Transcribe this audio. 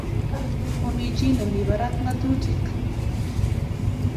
Mami chi nemi parak ng'atutik.